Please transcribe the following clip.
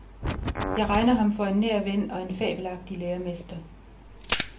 Jeg regner ham for en nær ven, og en fabelagtig læremester.